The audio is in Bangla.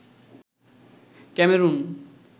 ক্যামেরুন